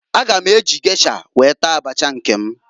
A ga m eji gesha wee taa abacha nke m.